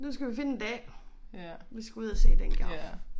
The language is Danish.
Nu skal vi finde en dag vi skal ud at se den giraf